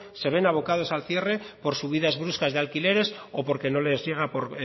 se ven abocados al cierre por subidas bruscas de alquileres o porque no les llega por